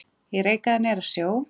Ég reikaði niður að sjó.